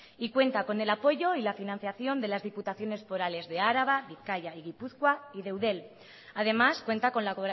y cuenta con el apoyo y la financiación de las diputaciones forales de araba bizkaia y gipuzkoa y de eudel además cuenta con la